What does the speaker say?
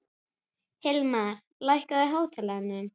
Hilmar, lækkaðu í hátalaranum.